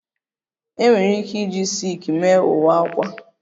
E nwere ike iji silki mee uwe akwa